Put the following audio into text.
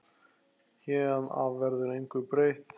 Héðan af verður engu breytt.